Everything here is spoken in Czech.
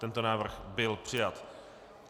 Tento návrh byl přijat.